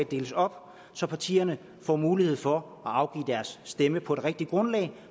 deles op så partierne får mulighed for at afgive deres stemme på et rigtigt grundlag og